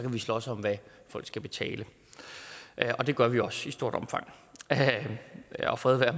slås om hvad folk skal betale og det gør vi også i stort omfang og fred være